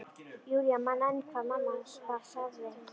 Júlía man enn hvað mamma varð sárreið.